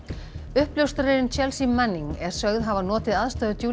uppljóstrarinn Chelsea Manning er sögð hafa notið aðstoðar